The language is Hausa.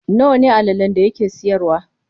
Nawa ne allalen da yake siyarwa?